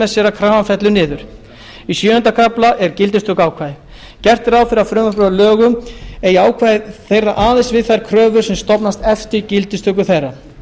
sér að krafan fellur niður í sjöunda kafla er gildistökuákvæði gert er ráð fyrir því að verði frumvarpið að lögum eigi ákvæði þeirra aðeins við um þær kröfur sem stofnast eftir gildistöku þeirra